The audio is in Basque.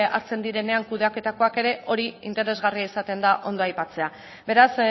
hartzen direnean kudeaketakoak ere hori interesgarria izaten da ondo aipatzea beraz